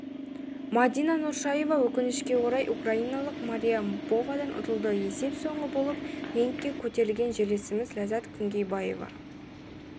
мадина нұршаева өкінішке орай украиналық мария бовадан ұтылды есеп соңғы болып рингке көтерілген жерлесіміз ләззат күнгейбаева